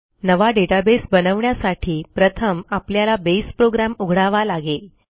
नवा डेटाबेस बनवण्यासाठी प्रथम आपल्याला बसे प्रोग्राम उघडावा लागेल